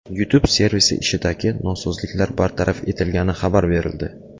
YouTube servisi ishidagi nosozliklar bartaraf etilgani xabar berildi.